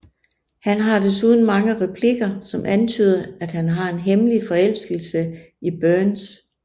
Han har desuden mange replikker som antyder at han har en hemmelig forelskelse i Burns